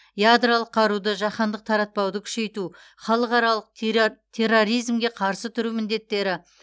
ядролық қаруды жаһандық таратпауды күшейту халықаралық терроризмге қарсы тұру міндеттері